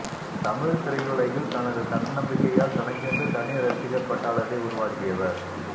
தமிழ் திரையுலகில் தனது தன்னம்பிக்கையால் தனக்கென்று தனி ரசிகர் பட்டாளத்தை உருவாக்கியவர்